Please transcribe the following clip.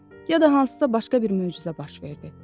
Ya da hansısa başqa bir möcüzə baş verdi.